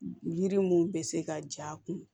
Yiri mun bɛ se ka ja a kun